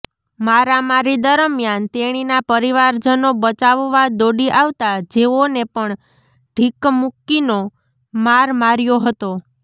મારામારી દરમિયાન તેણીના પરિવારજનો બચાવવા દોડી આવતા જેઓને પણ ઢીક્કમુક્કીનો માર માર્યો હતો